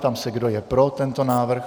Ptám se, kdo je pro tento návrh.